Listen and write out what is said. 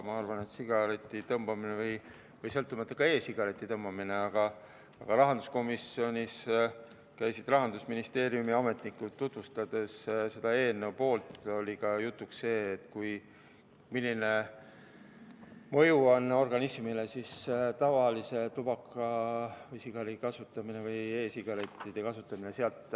Aga kui rahanduskomisjonis käisid Rahandusministeeriumi ametnikud seda eelnõu tutvustamas, siis tuli ka jutuks see, millist mõju organismile tavaline tubakas või sigar või e-sigarettide kasutamine.